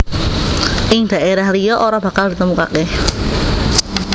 Ing daerah liya ora bakal ditemukake